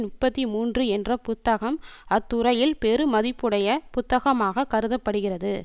முப்பத்தி மூன்று என்ற புத்தகம் அத்துறையில் பெருமதிப்புடைய புத்தகமாகக் கருத படுகிறது